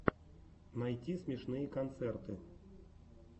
найти смешные концерты